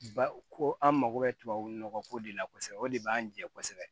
Ba ko an mako bɛ tubabu nɔgɔ ko de la kosɛbɛ o de b'an jɛ kosɛbɛ